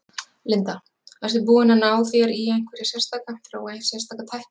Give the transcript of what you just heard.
Linda: Ertu búinn að ná þér í einhverja sérstaka, þróa sérstaka tækni?